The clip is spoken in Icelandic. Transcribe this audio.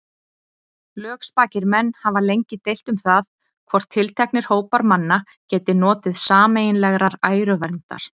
Lögspakir menn hafa lengi deilt um það, hvort tilteknir hópar manna geti notið sameiginlegrar æruverndar.